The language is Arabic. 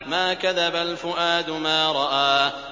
مَا كَذَبَ الْفُؤَادُ مَا رَأَىٰ